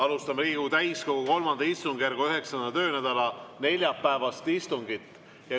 Alustame Riigikogu täiskogu III istungjärgu 9. töönädala neljapäevast istungit.